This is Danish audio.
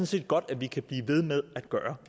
set godt vi kan blive ved med at gøre